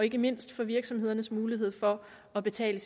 og ikke mindst for virksomhedernes mulighed for at betale